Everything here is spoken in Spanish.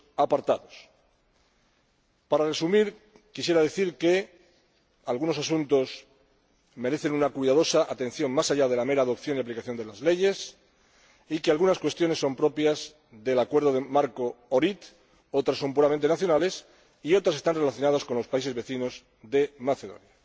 Para resumir, quisiera decir que algunos asuntos merecen una cuidadosa atención, más allá de la mera adopción y aplicación de las leyes, y que algunas cuestiones son propias del Acuerdo marco de Ohrid, otras son puramente nacionales y otras están relacionadas con los países vecinos de Macedonia.